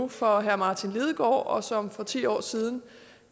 for herre martin lidegaard og som for ti år siden